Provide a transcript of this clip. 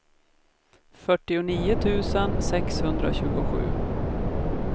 fyrtionio tusen sexhundratjugosju